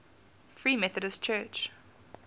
free methodist church